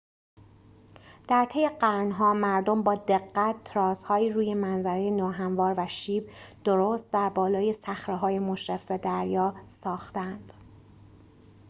در طی قرن‌ها مردم با دقت تراس‌هایی روی منظره ناهموار و شیب درست در بالای صخره‌های مشرف به دریا ساخته‌اند